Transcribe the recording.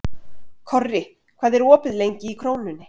Korri, hvað er opið lengi í Krónunni?